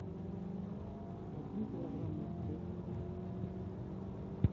один килограмм морковки